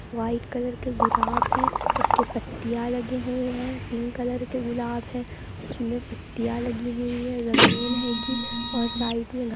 White colour के गुराब हैं उसके पत्तियां लगे हुए हैं। पिंक कलर के गुलाब है उसमें पत्तियां लगी हुई हैं। ज़मीन हैगी और साइड में घ --